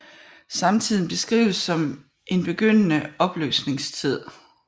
Samtiden beskrives som en begyndende opløsningstid